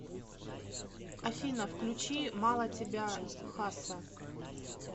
афина включи мало тебя хасса